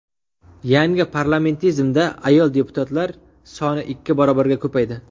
Yangi Parlamentimizda ayol deputatlar soni ikki barobarga ko‘paydi.